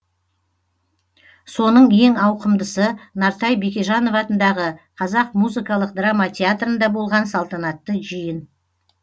соның ең ауқымдысы нартай бекежанов атындағы қазақ музыкалық драма театрында болған салтанатты жиын